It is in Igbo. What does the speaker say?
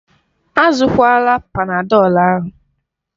Azụkwala Panadọlu ahụ.